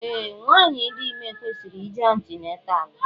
Ee, nwanyị dị ime kwesịrị ije antinatal